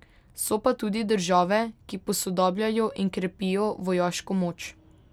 So pa tudi države, ki posodabljajo in krepijo vojaško moč.